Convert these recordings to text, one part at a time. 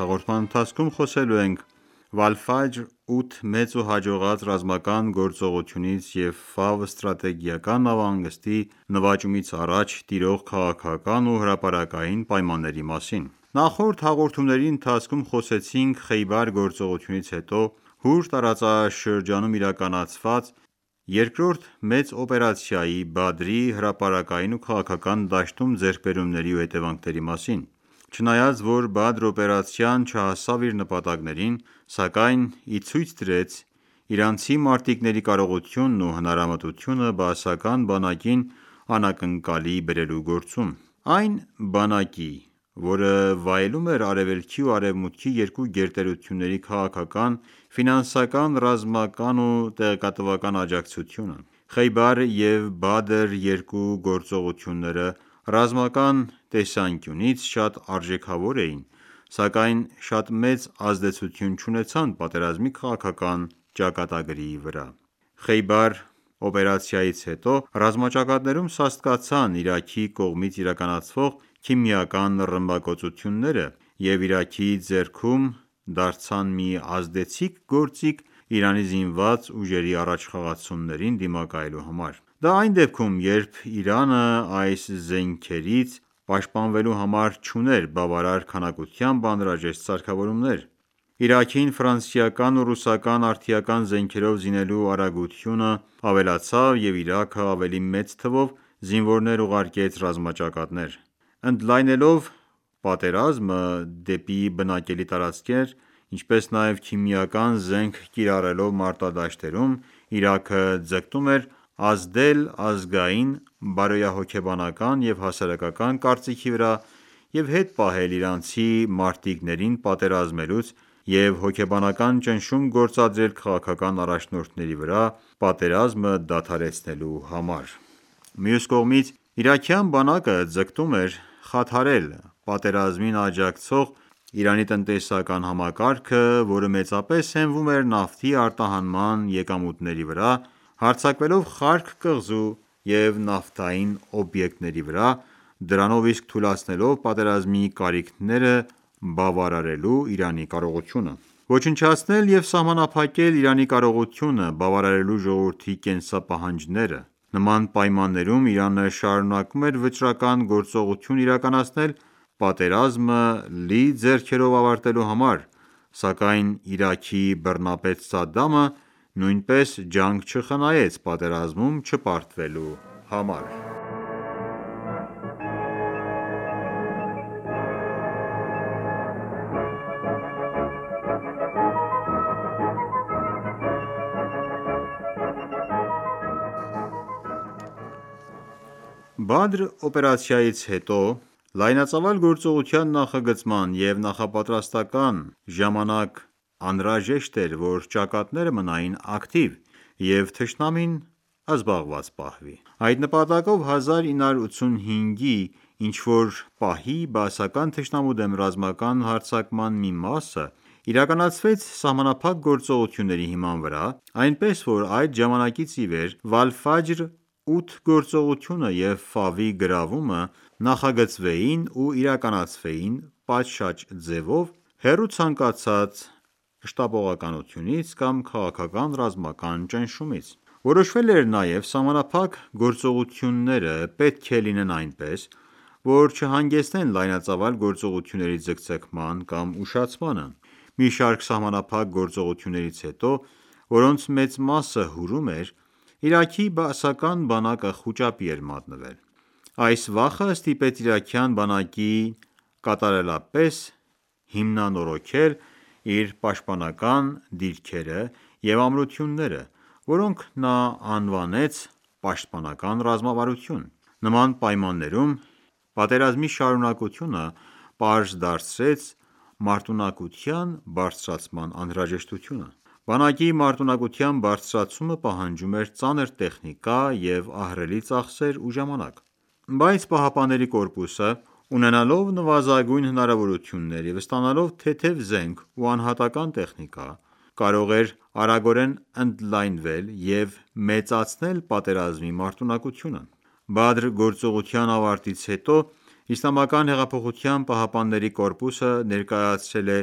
հաղորդման ընթացքում խոսելու ենք Վալֆաջր-8 մեծ ու հաջողած ռազմական գործողությունից և Ֆավ ստրատեգիական նավահանգստի նվաճումից առաջ տիրող քաղաքական ու հրապարակային պայմանների մասին: Նախորդ հաղորդումների ընթացքում խոսեցինք Խեյբար գործողությունից հետո Հուր տարածաշրջանում իրականացված երկրորդ մեծ օպերացիայի՝ Բադրի հրապարակային ու քաղաքական դաշտում ձեռքբերումների և հետևանքների մասին: Չնայած որ Բադր օպերացիան չհասավ իր նպատակներին, սակայն իցույց դրեց իրանցի մարտիկների կարողությունն ու հնարամտությունը՝ բաասական բանակին անակնկալի բերելու գործում: Այն բանակի, որը վայելում էր արևելքի ու արևմուտքի երկու գերտերությունների քաղաքական, ֆինանսական, ռազմական ու տեղեկատվական աջակցությունը: Խեյբար և Բադր երկու գործողությունները ռազմական տեսանկյունից շատ արժեքավոր էին, սակայն շատ մեծ ազդեցություն չունեցան պատերազմի քաղաքական ճակատագրի վրա: Խեյբար օպերացիայից հետո ռազմաճակատներում սաստկացան Իրաքի կողմից իրականացվող քիմիական ռմբակոծությունները և Իրաքի ձեռքում դարձան մի ազդեցիկ գործիք Իրանի զինված ուժերի առաջխաղացումներին դիմակայելու համար: Դա այն դեպքում, երբ Իրանը այս զենքերից պաշտպանվելու համար չուներ բավարար քանակությամբ անհրաժեշտ սարքավորումներ: Իրաքին ֆրանսիական ու ռուսական արդիական զենքերով զինելու արագությունը ավելացավ և Իրաքը ավելի մեծ թվով զինվորներ ուղարկեց ռազմաճակատներ: Ընդլայնելով պատերազմը դեպի բնակելի տարածքներ, ինչպես նաև քիմիական զենք կիրառելով մարտադաշտերում՝ Իրաքը ձգտում էր ազդել ազգային բարոյահոգեբանական և հասարակական կարծիքի վրա և հետ պահել իրանցի մարտիկներին պատերազմելուց և հոգեբանական ճնշում գործադրել քաղաքական առաջնորդների վրա՝ պատերազմը դադարեցնելու համար: Մյուս կողմից, իրաքյան բանակը ձգտում էր խաթարել պատերազմին աջակցող Իրանի տնտեսական համակարգը, որը մեծապես հենվում էր նավթի արտահանման եկամուտների վրա՝ հարձակվելով Խարկ կղզու և նավթային օբյեկտների վրա, դրանով իսկ թուլացնելով պատերազմի կարիքները բավարարելու Իրանի կարողությունը: Ոչնչացնել և սահմանափակել Իրանի կարողությունը՝ բավարարելու ժողովրդի կենսապահանջները: Նման պայմաններում Իրանը շարունակում էր վճռական գործողություն իրականացնել՝ պատերազմը լի ձեռքերով ավարտելու համար, սակայն Իրաքի բռնապետ Սադդամը նույնպես ջանք չխնայեց պատերազմում չպարտվելու համար: Բադր օպերացիայից հետո լայնածավալ գործողության նախագծման և նախապատրաստման ժամանակ անհրաժեշտ էր, որ ճակատները մնային ակտիվ և թշնամին զբաղված պահվի։ Այդ նպատակով, 1985-ի ինչ-որ պահի, բաասական թշնամու դեմ ռազմական հարձակման մի մասը իրականացվեց սահմանափակ գործողությունների հիման վրա, այնպես որ այդ ժամանակից ի վեր գործողությունը և Ֆավի գրավումը նախագծվեին ու իրականացվեին պատշաճ ձևով՝ հեռու ցանկացած շտապողականությունից կամ քաղաքական-ռազմական ճնշումից: Որոշվել է նաև սահմանափակ գործողությունները պետք է լինեն այնպես, որ չհանգեցնեն լայնածավալ գործողությունների ձգձգման կամ ուշացմանը։ Մի շարք սահմանափակ գործողություններից հետո, որոնց մեծ մասը Հուրում էր, Իրաքի բաասական բանակը խուճապի էր մատնվել: Այս վախը ստիպեց իրաքյան բանակին կատարելապես հիմնանորոգել իր պաշտպանական դիրքերը և ամրությունները, որոնք նա անվանեց պաշտպանական ռազմավարություն: Նման պայմաններում պատերազմի շարունակությունը պարզ դարձրեց մարտունակության բարձրացման անհրաժեշտությունը։ Բանակի մարտունակության բարձրացումը պահանջում էր ծանր տեխնիկա և ահռելի ծախսեր ու ժամանակ։ Բայց ԻՀՊԿ-ն, ունենալով նվազագույն հնարավորություններ և ստանալով թեթև զենք ու անհատական ​​տեխնիկա, կարող էր արագորեն ընդլայնվել և մեծացնել պատերազմի մարտունակությունը։ «Բադր» գործողության ավարտից հետո Իսլամական հեղափոխության պահապանների կորպուսը ներկայացրել է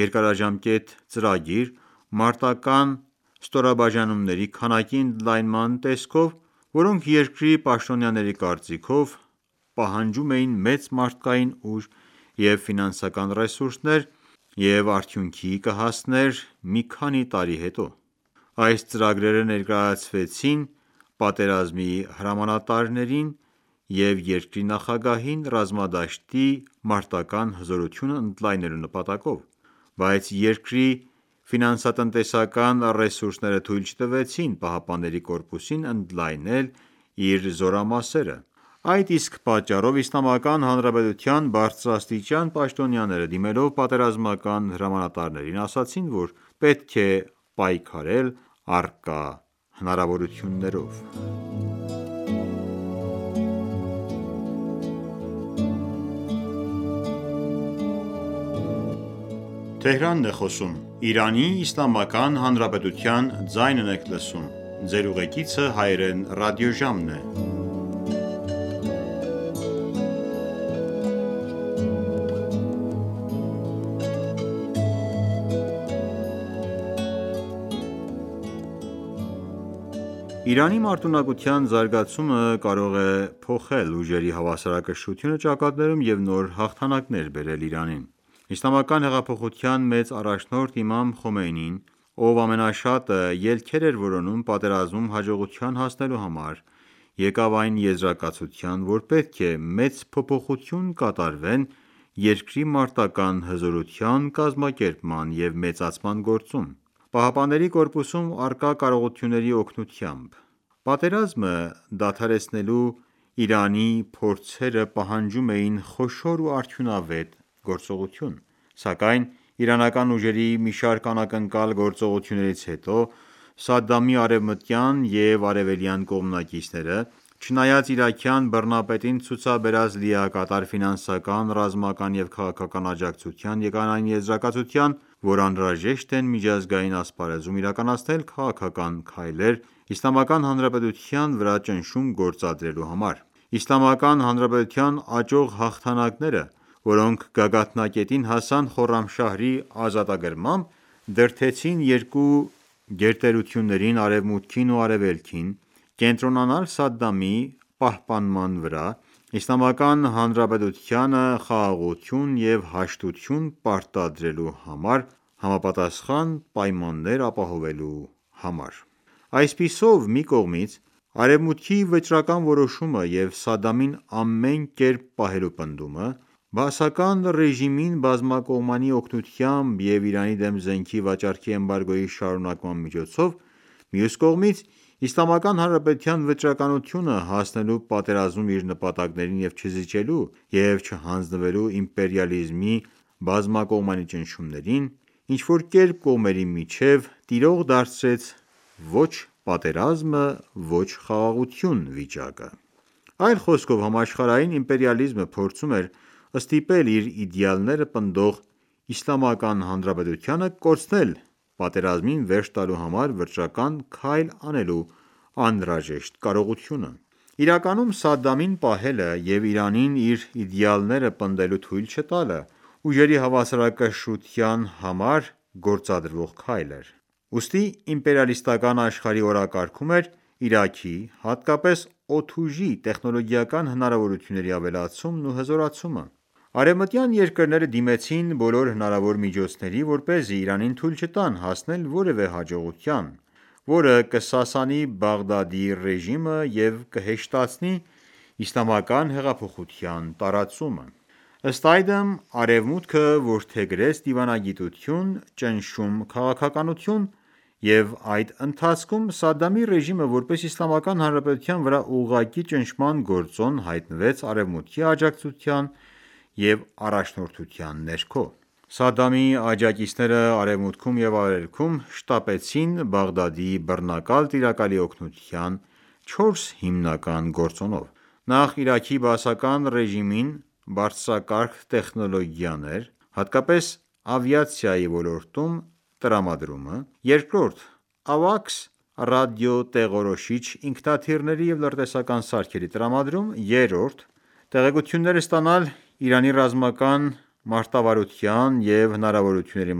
երկարաժամկետ ծրագրեր՝ մարտական ​​ստորաբաժանումների քանակի ընդլայնման տեսքով, որոնք, երկրի պաշտոնյաների կարծիքով, պահանջում էին մեծ մարդկային ուժ և ֆինանսական ռեսուրսներ և արդյունքի կհասներ մի քանի տարի հետո: Այս ծրագրերը ներկայացվեցին պատերազմի հրամանատարին և երկրի նախագահին՝ ռազմադաշտի մարտական ​​հզորությունն ընդլայնելու նպատակով։ Բայց երկրի ֆինանսատնտեսական ռեսուրսները թույլ չտվեցին ԻՀՊԿ-ին ընդլայնել իր զորամասերը: Այդ իսկ պատճառով Իսլամական Հանրապետության բարձրաստիճան պաշտոնյաները դիմելով պատերազմական հրամանատարներին ասացին, որ պետք է պայքարել առկա հնարավորություններով։ Իրանի մարտունակության զարգացումը կարող է փոխել ուժերի հավասարակշռությունը ճակատներում և նոր հաղթանակներ բերել Իրանին։ Իսլամական հեղափոխության մեծ առաջնորդ Իմամ Խոմեյնին, ով ամենաշատը ելքեր էր որոնում պատերազմում հաջողության հասնելու համար, եկավ այն եզրակացության, որ պետք է մեծ փոփոխություն կատարվեն երկրի մարտական ​​հզորության կազմակերպման և մեծացման գործում՝ ԻՀՊԿ-ում առկա կարողությունների օգնությամբ: Պատերազմը դադարեցնելու Իրանի փորձերը պահանջում էին խոշոր և արդյունավետ գործողություն: Սակայն իրանական ուժերի մի շարք անակնկալ գործողություններից հետո Սադամի արևմտյան և արևելյան կողմնակիցները, չնայած իրաքյան բռնապետին ցուցաբերած լիակատար ֆինանսական, ռազմական և քաղաքական աջակցությանը, եկան այն եզրակացության, որ անհրաժեշտ են միջազգային ասպարեզում իրականացնել քաղաքական քայլեր Իսլամական Հանրապետության վրա ճնշում գործադրելու համար: Իսլամական Հանրապետության աճող հաղթանակները, որոնք գագաթնակետին հասան Խորրամշահրի ազատագրմամբ, դրդեցին երկու գերտերություններին՝ Արևմուտքին և Արևելքին, կենտրոնանալ Սադամի պահպանման վրա՝ Իսլամական Հանրապետությանը խաղաղություն և հաշտություն պարտադրելու համար համապատասխան պայմաններ ապահովելու համար: Այսպիսով, մի կողմից՝ Արևմուտքի վճռական որոշումը և Սադդամին ամեն կերպ պահելու պնդումը, բաասական ռեժիմին բամակողմանի օգնությամբ և Իրանին դեմ զենքի վաճառքի էմբարգոյի շարունակման միջոցով, մյուս կողմից, Իսլամական Հանրապետության վճռականությունը՝ հասնելու պատերազմում իր նպատակներին և չզիջելու և չհանձնվելու իմպերիալիզմի բազմակողմանի ճնշումներին, ինչ-որ կերպ կողմերի միջև տիրող դարձրեց ոչ պատերազմը, ոչ խաղաղությունը վիճակը: Այլ խոսքով, համաշխարհային իմպերիալիզմը փորձում էր ստիպել իր իդյալները պնդող Իսլամական Հանրապետությանը կորցնել պատերազմին վերջ տալու համար վճռական քայլ անելու անհրաժեշտ կարողությունը։ Իրականում Սադդամին պահելը և Իրանին իր իդեալները պնդելու թույլ չտալը ուժերի հավասարակշռության համար գործադրվող քայլ էր: Ուստի իպերիալիստական աշխարհի օրակարգում էր Իրաքի, հատկապես օդուժի տեխնոլոգիական հնարավորությունների ավելացումն ու հզորացումը։ Արևմտյան երկրները դիմեցին բոլոր հնարավոր միջոցների, որպեսզի Իրանին թույլ չտան հասնել որևէ հաջողության, որը կսասանի Բաղդադի ռեժիմը և կհեշտացնի իսլամական հեղափոխության տարածումը: Ըստ այդմ, Արևմուտքը որդեգրեց դիվանագիտություն-ճնշում քաղաքականություն, և այդ ընթացքում Սադամի ռեժիմը, որպես Իսլամական Հանրապետության վրա ուղղակի ճնշման գործոն, հայտնվեց Արևմուտքի աջակցության և առաջնորդության ներքո։ Սադամի աջակիցները արևմուտքում և արևելքում շտապեցին Բաղդադի բռնակալ տիրակալի օգնության չորս հիմնական գործոնով: Նախ՝ Իրաքի բաասական ռեժիմին բարձրակարգ տեխնոլոգիաների (հատկապես ավիացիայի ոլորտում) տրամադրումը. երկրորդ՝ AWACS ռադիոտեղորոշիչ ինքնաթիռների և լրտեսական սարքերի տրամադրում։ Երրորդ՝ տեղեկություններ ստանալ Իրանի ռազմական մարտավարության և հնարավորությունների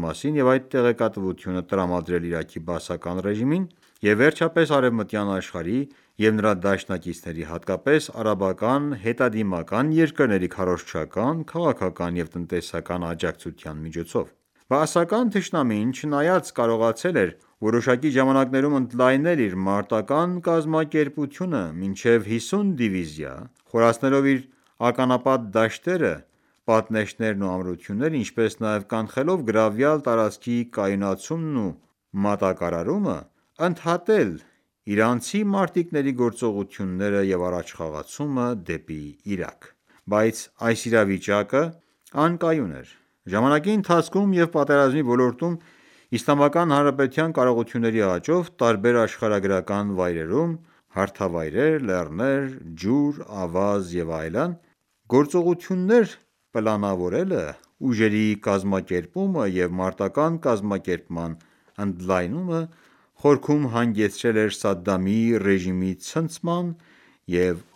մասին և այդ տեղեկատվությունը տրամադրել Իրաքի բաասական ռեժիմին, և վերջապես՝ արևմտյան աշխարհի և նրա դաշնակիցների, հատկապես արաբական հետադիմական երկրների քարոզչական, քաղաքական և տնտեսական աջակցության միջոցով։ Բաասական թշնամին, չնայած կարողացել էր որոշակի ժամանակաշրջանում ընդլայնել իր մարտական ​​կազմակերպությունը մինչև 50 դիվիզիա, խորացնելով իր ականապատ դաշտերը, պատնեշներն ու ամրությունները, ինչպես նաև կանխելով գրավյալ տարածքի կայունացումն ու մատակարարումը, ընդհատել իրանցի մարտիկների գործողությունները և առաջխաղացում դեպի Իրաք։ Բայց այս իրավիճակը անկայուն էր։ Ժամանակի ընթացքում և պատերազմի ոլորտում Իսլամական Հանրապետության կարողությունների աճով` տարբեր աշխարհագրական վայրերում (հարթավայրեր, լեռներ, ջուր, ավազ և այլն) գործողություններ պլանավորելը, ուժերի կազմակերպումը և մարտական​​ կազմակերպման ընդլայնումը, խորքում հանգեցրել էր Սադդամի ռեժիմի ցնցման և